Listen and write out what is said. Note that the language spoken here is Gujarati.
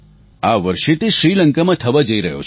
આ વર્ષે તે શ્રીલંકામાં થવા જઈ રહ્યો છે